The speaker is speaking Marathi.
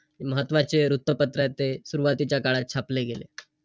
महत्वाचे वृत्तपत्रय ते. सुरवातीच्या काळात छापले गेले.